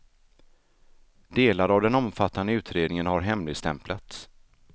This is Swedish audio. Delar av den omfattande utredningen har hemligstämplats.